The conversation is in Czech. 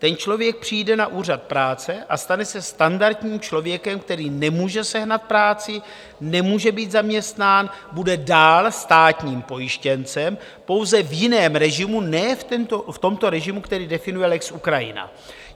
Ten člověk přijde na úřad práce a stane se standardním člověkem, který nemůže sehnat práci, nemůže být zaměstnán, bude dál státním pojištěncem, pouze v jiném režimu, ne v tomto režimu, který definuje lex Ukrajina.